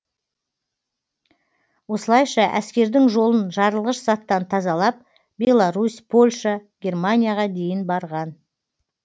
осылайша әскердің жолын жарылғыш заттан тазалап беларусь польша германияға дейін барған